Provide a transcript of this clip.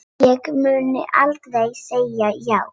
Ég mun aldrei segja já.